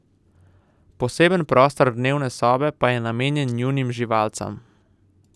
Poseben prostor dnevne sobe pa je namenjen njunim živalcam.